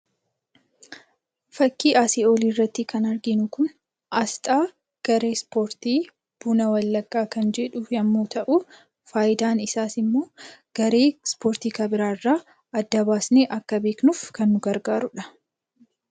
Fakkii asii olii irratti kan arginu kun aasxaa garee Ispoortii 'Buna Wallaggaa ' kan jedhu yommuu ta'u, faayidaan isaas immoo garee Ispoortii kan biraa irraa adda baasnee akka beeknuuf kan nu gargaarudha.